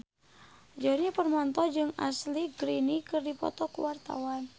Djoni Permato jeung Ashley Greene keur dipoto ku wartawan